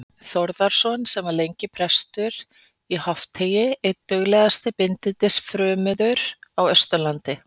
Þórðarsonar, sem var lengi prestur í Hofteigi, einn duglegasti bindindis- frömuður á Austurlandi.